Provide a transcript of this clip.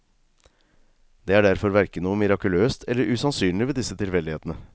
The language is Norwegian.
Det er derfor hverken noe mirakuløst eller usannsynlig ved disse tilfeldighetene.